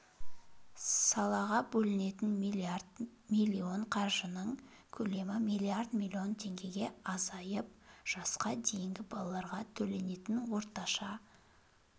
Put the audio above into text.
салаға бөлінетін миллиард миллион қаржының көлемі миллиард миллион теңгеге азайды жасқа дейінгі балаларға төленетін орташа